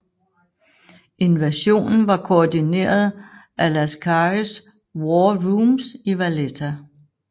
Invasionen var koordineret af Lascaris War Rooms i Valletta